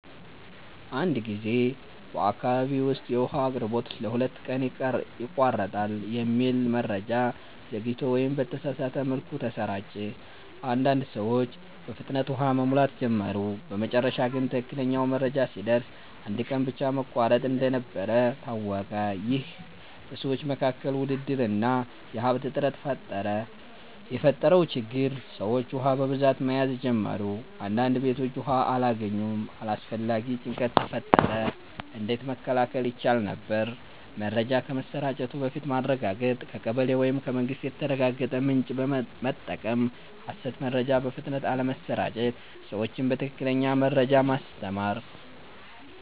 አንድ ጊዜ በአካባቢ ውስጥ “የውሃ አቅርቦት ለሁለት ቀን ይቋረጣል” የሚል መረጃ ዘግይቶ ወይም በተሳሳተ መልኩ ተሰራጨ። አንዳንድ ሰዎች በፍጥነት ውሃ መሙላት ጀመሩ በመጨረሻ ግን ትክክለኛው መረጃ ሲደርስ አንድ ቀን ብቻ መቋረጥ እንደነበር ታወቀ ይህ በሰዎች መካከል ውድድር እና የሀብት እጥረት ፈጠረ የተፈጠረው ችግር ሰዎች ውሃ በብዛት መያዝ ጀመሩ አንዳንድ ቤቶች ውሃ አላገኙም አላስፈላጊ ጭንቀት ተፈጠረ እንዴት መከላከል ይቻል ነበር? መረጃ ከመሰራጨቱ በፊት ማረጋገጥ ከቀበሌ ወይም ከመንግስት የተረጋገጠ ምንጭ መጠቀም ሐሰት መረጃ በፍጥነት አለመስራጨት ሰዎችን በትክክለኛ መረጃ ማስተማር